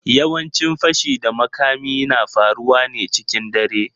Yawancin fashi da makami na faruwa ne cikin dare.